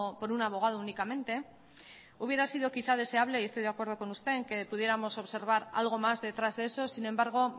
por un abogado únicamente hubiera sido quizá deseable y estoy de acuerdo con usted en que pudiéramos observar algo más detrás de eso sin embargo